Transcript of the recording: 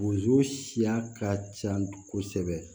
Wozo siya ka ca kosɛbɛ